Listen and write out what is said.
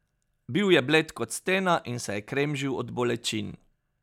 Bil je bled kot stena in se je kremžil od bolečin.